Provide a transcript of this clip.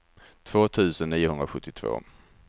två tusen niohundrasjuttiotvå